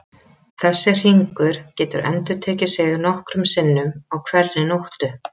Þessi hringur getur endurtekið sig nokkrum sinnum á hverri nóttu.